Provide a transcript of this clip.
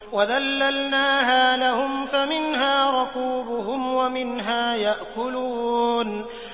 وَذَلَّلْنَاهَا لَهُمْ فَمِنْهَا رَكُوبُهُمْ وَمِنْهَا يَأْكُلُونَ